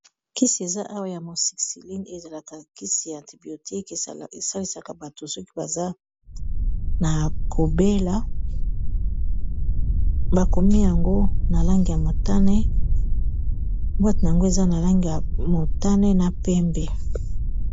kisi eza awa ya mosikciline ezalaka kisi ya antibiotique esalisaka bato soki baza na kobela bakomi yango na langi ya motane bwate na yango eza na langi ya motane na pembe